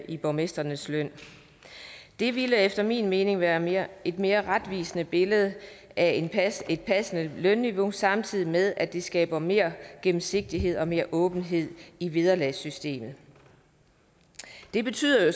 i borgmestrenes løn det ville efter min mening være være et mere retvisende billede af et passende lønniveau samtidig med at det skaber mere gennemsigtighed og mere åbenhed i vederlagssystemet det betyder jo